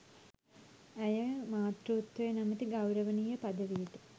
ඇය මාතෘත්වය නමැති ගෞරවනීය පදවියට